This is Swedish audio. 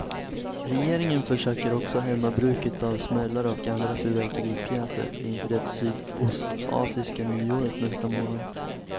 Regeringen försöker också hämma bruket av smällare och andra fyrverkeripjäser inför det sydostasiatiska nyåret nästa månad.